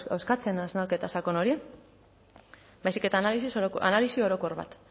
eskatzen hausnarketa sakon hori baizik eta analisi orokor bat